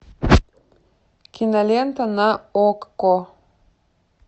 кинолента на окко